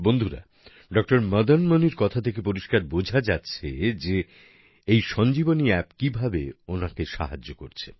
বন্ধুরা ডঃ মদন মনির কথা থেকে পরিষ্কার বোঝা যাচ্ছে যে এই ইসঞ্জীবনী অ্যাপ কিভাবে ওনার সাহায্য করছে